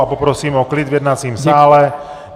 A poprosím o klid v jednacím sále.